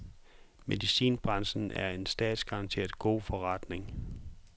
Medicinalbranchen er en statsgaranteret god forretning.